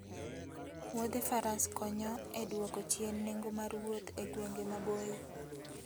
Wuodhe faras konyo e dwoko chien nengo mar wuoth e gwenge maboyo.